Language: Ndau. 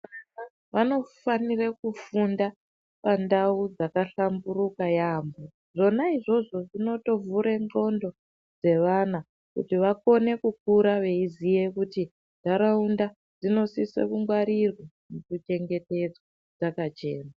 Vanofanire kufunda pandau dzakahalamburuka yambo zvona izvozvo zvinotovhure ndxondo dzevana kuti vakone kukura veiziye kuti ntaraunda dzinosise kungwarirwa nekuchengetedzwa dzakachena.